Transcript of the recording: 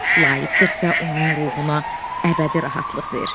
Layiqdirsə, onun ruhuna əbədi rahatlıq ver.